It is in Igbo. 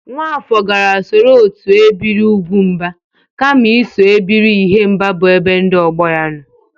Nwafọr gara soro otu ebiri ụgwụmba kama iso ebiri ihemba bụ ebe ndị ọgbọ ya nọ